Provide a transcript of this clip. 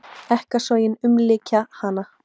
Ekkasogin umlykja hana.